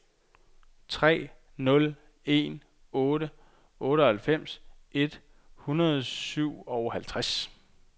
tre nul en otte otteoghalvfems et hundrede og syvoghalvtreds